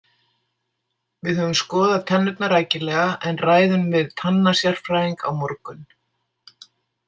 Við höfum skoðað tennurnar rækilega en ræðum við tannasérfræðing á morgun.